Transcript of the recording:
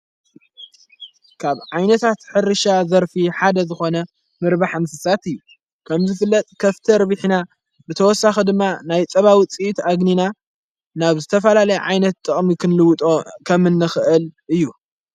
ካብ ዓይነታት ኅሪሻ ዘርፊ ሓደ ዝኾነ ምርባሕ እንስሳት እዩ ከምዘ ፍለጥ ከፍቲ ኣርቢሕና ብተወሳኽ ድማ ናይ ጸባዊ ፂእት ኣግኒና ናብ ዝተፋላለይ ዓይነት ጥቕሚ ክንልውጦ ከምእንኽእል እዩ፡፡